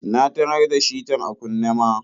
Na tarar da shitar a kunne ma.